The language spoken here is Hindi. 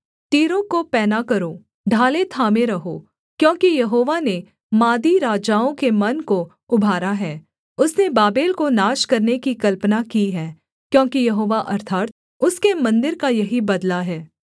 तीरों को पैना करो ढालें थामे रहो क्योंकि यहोवा ने मादी राजाओं के मन को उभारा है उसने बाबेल को नाश करने की कल्पना की है क्योंकि यहोवा अर्थात् उसके मन्दिर का यही बदला है